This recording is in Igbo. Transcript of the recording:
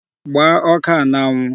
Gbaa ọka a n'anwụ!